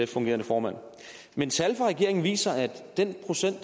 fungerende formand men tal fra regeringen viser at den procent af